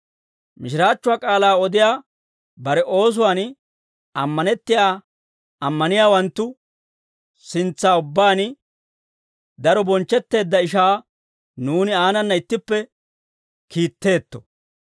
Mishiraachchuwaa k'aalaa odiyaa bare oosuwaan ammanettiyaa ammaniyaawanttu sintsa ubbaan daro bonchchetteedda ishaa nuuni aanana ittippe kiitteetto.